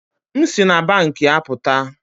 M si na banki apụta